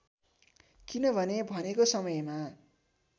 किनभने भनेको समयमा